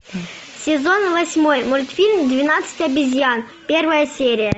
сезон восьмой мультфильм двенадцать обезьян первая серия